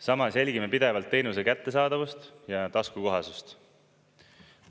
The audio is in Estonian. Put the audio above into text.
Samas jälgime pidevalt teenuse kättesaadavust ja taskukohasust.